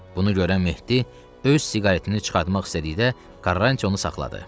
Bunu görən Mehdi öz siqaretini çıxartmaq istədikdə Karranti onu saxladı.